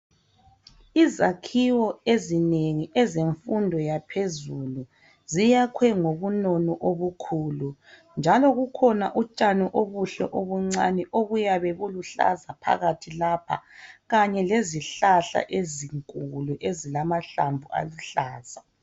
Izakhiwo ezinengi ezemfundo yaphezulu ziyakhwe ngobunono obukhulu, njalo bukhona utshani obuhle obuncane obuyabe bulihlaza phakathi lapha kanye lezihlahla ezinkulu ezilamahlamvu aluhlaza.